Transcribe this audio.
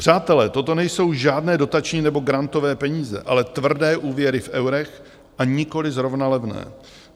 Přátelé, toto nejsou žádné dotační nebo grantové peníze, ale tvrdé úvěry v eurech, a nikoliv zrovna levné.